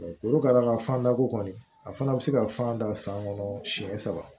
Olu ka d'a ka fan dako kɔni a fana bɛ se ka fan da san kɔnɔ siɲɛ saba